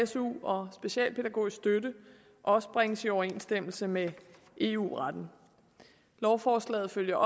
su og specialpædagogisk støtte også bringes i overensstemmelse med eu retten lovforslaget følger